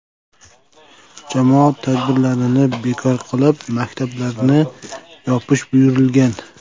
Jamoat tadbirlarini bekor qilib, maktablarni yopish buyurilgan.